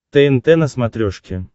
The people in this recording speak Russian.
тнт на смотрешке